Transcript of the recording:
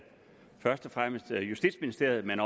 først og fremmest justitsministeriet men